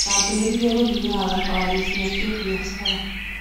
ndambĩrĩieie gũthiaga thabarĩ cia kĩbiathara.